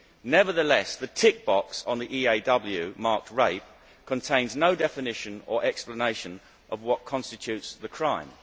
Nevertheless, the tick box on the EAW marked rape contains no definition or explanation of what constitutes the crime.